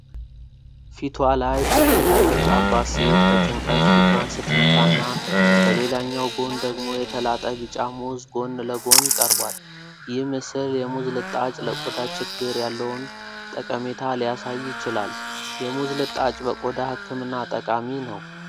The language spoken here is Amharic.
ፊቷ ላይ ሽፍታ የወጣባት ሴት በጭንቀት ፊቷን ስትነካና በሌላኛው ጎን ደግሞ የተላጠ ቢጫ ሙዝ ጎን ለጎን ቀርቧል። ይህ ምስል የሙዝ ልጣጭ ለቆዳ ችግር ያለውን ጠቀሜታ ሊያሳይ ይችላል። የሙዝ ልጣጭ በቆዳ ህክምና ጠቃሚ ነው።